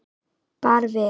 Bara við.